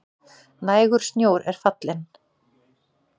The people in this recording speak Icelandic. Nægur snjór er í fjallinu